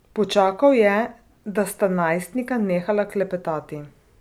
Počakal je, da sta najstnika nehala klepetati.